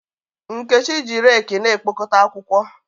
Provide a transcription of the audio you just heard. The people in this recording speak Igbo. Nkechi na-eji rekị na-ekpokọta akwụkwọ.